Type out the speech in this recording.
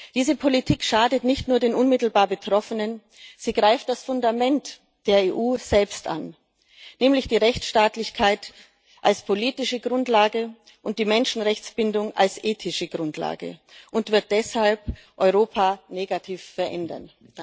Diese Politik schadet nicht nur den unmittelbar Betroffenen, sie greift das Fundament der EU selbst an, nämlich die Rechtsstaatlichkeit als politische Grundlage und die Menschenrechtsbindung als ethische Grundlage, und wird deshalb Europa negativ verändern.